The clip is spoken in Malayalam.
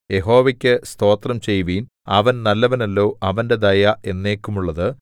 യഹോവക്കു സ്തോത്രം ചെയ്യുവീൻ അവൻ നല്ലവനല്ലോ അവന്റെ ദയ എന്നേക്കുമുള്ളതു